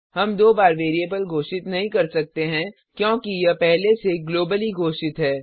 हम दो बार वेरिएबल घोषित नहीं कर सकते हैं क्योंकि यह पहले से ग्लोबली घोषित है